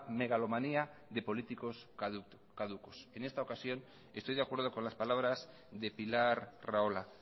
megalomanía de políticos caducos en esta ocasión estoy de acuerdo con las palabras de pilar rahola